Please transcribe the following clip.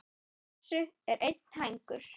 Á þessu er einn hængur.